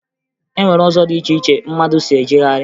E nwere ụzọ dị iche iche mmadụ si ejegharị